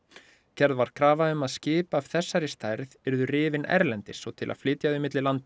gerð var krafa um að skip af þessari stærð yrðu rifin erlendis og til að flytja þau milli landa